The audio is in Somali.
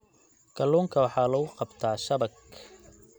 Kaluunka waxaa lagu qabtaa shabag.